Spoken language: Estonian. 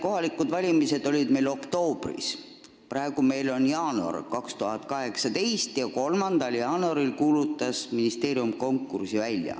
Kohalikud valimised olid meil oktoobris, praegu on jaanuar 2018 ja ministeerium kuulutas konkursi välja 3. jaanuaril.